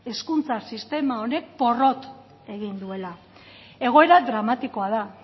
hezkuntza sistema honek porrot egin duela egoera dramatikoa da